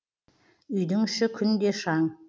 үйдің іші күнде шаң